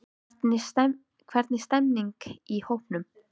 Hvernig stemmningin í hópnum?